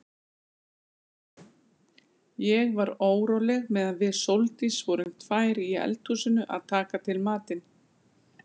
Ég var óróleg meðan við Sóldís vorum tvær í eldhúsinu að taka til matinn.